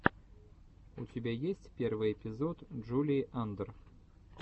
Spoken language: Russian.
у тебя есть первый эпизод джулии андр